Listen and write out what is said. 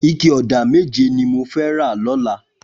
Iké ọ̀dá méjé ni mó fè rà lọ̀là